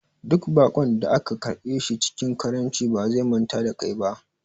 Duk baƙon da ka karɓe shi cikin karamci ba zai manta da kai ba